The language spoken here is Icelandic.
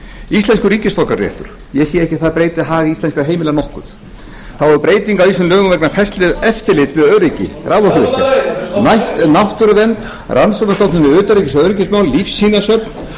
íslenskur ríkisborgararéttur ég sé ekki að það breyti hag íslenskra heimila nokkuð þá er breyting á ýmsum lögum vegna færslu eftirlits með öryggi raforkuvirkja næst er náttúruvernd rannsóknarstofnun um utanríkis og öryggismál lífsýnasöfn